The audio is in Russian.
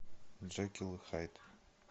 джекил и хайд